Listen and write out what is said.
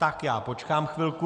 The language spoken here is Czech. Tak já počkám chvilku...